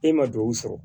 E ma duwawu sɔrɔ